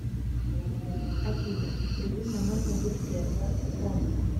афина безумно можно быть первым хоми